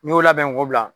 N'i y'o labɛn ko bila